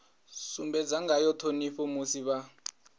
sumbedza ngayo ṱhonipho musi vha